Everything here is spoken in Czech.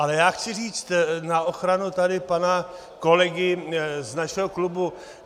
Ale já chci říct na ochranu tady pana kolegy z našeho klubu.